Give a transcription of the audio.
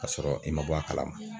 Ka sɔrɔ i ma bɔ a kalama